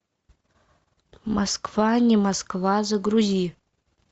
москва не москва загрузи